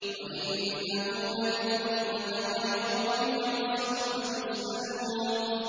وَإِنَّهُ لَذِكْرٌ لَّكَ وَلِقَوْمِكَ ۖ وَسَوْفَ تُسْأَلُونَ